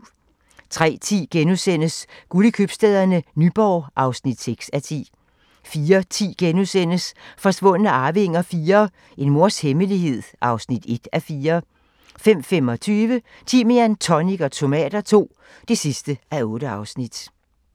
03:10: Guld i Købstæderne - Nyborg (6:10)* 04:10: Forsvundne arvinger IV - En mors hemmelighed (1:4)* 05:25: Timian, tonic og tomater II (8:8)